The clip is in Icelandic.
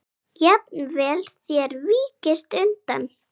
Jafnvel þér víkist undan!